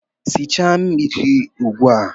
Sichaa mmiri ugbu a!